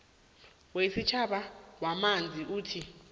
wesitjhaba wamanzi uthi